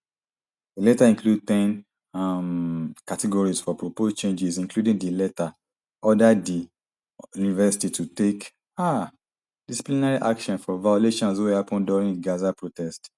di letter include ten um categories for proposed changes including di letter order di university to take um disciplinary action for violations wey happun during gaza protests